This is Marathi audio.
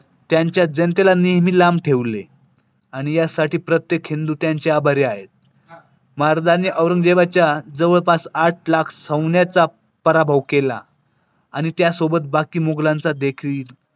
त्यांच्या जयंतीला नेहमी लांब ठेवले आणि यासाठी प्रत्येक हिंदू त्यांचे आभारी आहे. महाराजांनी औरंगजेबच्या जवळपास आठ लाख सैन्याचा पराभव केला. आणि त्यासोबत बाकी मुघलांचादेखील.